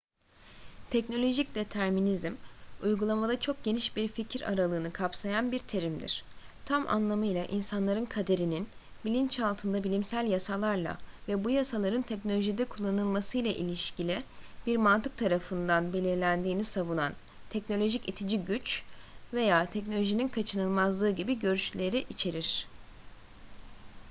teknolojik determinizm uygulamada çok geniş bir fikir aralığını kapsayan bir terimdir tam anlamıyla insanların kaderinin bilinçaltında bilimsel yasalarla ve bu yasaların teknolojide kullanılmasıyla ilişkili bir mantık tarafından belirlendiğini savunan teknolojik itici güç veya teknolojinin kaçınılmazlığı gibi görüşleri içerir